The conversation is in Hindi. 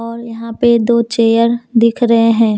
और यहाँ पे दो चेयर दिख रहे हैं।